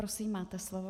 Prosím, máte slovo.